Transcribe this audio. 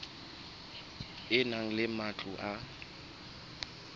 e na le matlo a